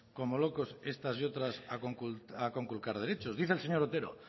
como locos estas y otras a conculcar derechos dice el señor otero